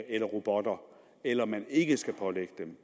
eller robotter eller man ikke skal pålægge dem